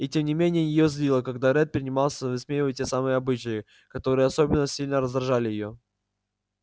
и тем не менее её злило когда ретт принимался высмеивать те самые обычаи которые особенно сильно раздражали её